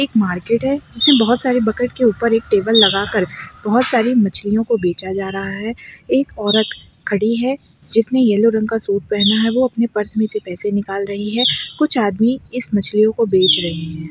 एक मार्केट है जिसमे बहुत सारे बकेट के ऊपर एक टेबल लगा कर बहुत सारी मछलियों को बेचा जा रहा है एक औरत खड़ी है जिसने येलो रंग का सूट पहना है वो अपने पर्स मे से पैसे निकाल रही है कुछ आदमी इस मच्छलियों को बेंच रहे हैं।